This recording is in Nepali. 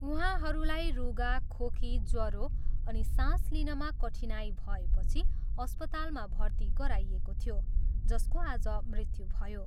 उहाँहरूलाई रुघा, खोकी, ज्वरो अनि सास लिनमा कठिनाई भएपछि अस्पतलमा भर्ती गराइएको थियो जसको आज मृत्यु भयो।